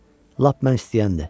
Lap mən istəyəndi.